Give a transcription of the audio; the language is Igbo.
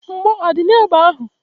Mgbọ adị n'egbe ahụ?